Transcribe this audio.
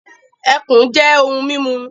Ẹkùn jẹ ohun mímu